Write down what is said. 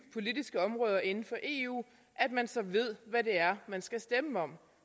politiske områder inden for eu så ved hvad det er man skal stemme om